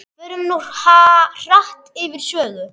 Förum nú hratt yfir sögu.